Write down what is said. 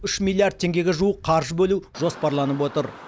үш миллиард теңгеге жуық қаржы бөлу жоспарланып отыр